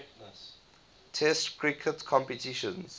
test cricket competitions